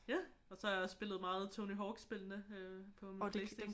Og så har jeg også spillet meget Tony Hawk-spillene øh på min PlayStation